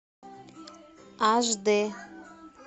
аш д